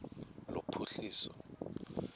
lophuhliso